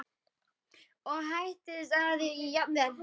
og hæddist að jafnvel